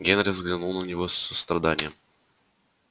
генри взглянул на него с состраданием